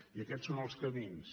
i aquests són els camins